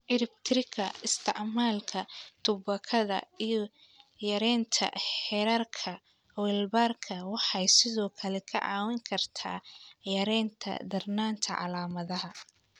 Ciribtirka isticmaalka tubaakada iyo yaraynta heerarka walbahaarka waxay sidoo kale kaa caawin kartaa yaraynta darnaanta calaamadaha.